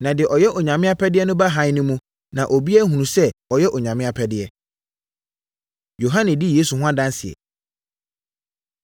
Na deɛ ɔyɛ Onyame apɛdeɛ no ba Hann no mu na obiara ahunu sɛ ɔyɛ Onyame apɛdeɛ.” Yohane Di Yesu Ho Adanseɛ